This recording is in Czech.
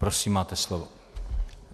Prosím, máte slovo.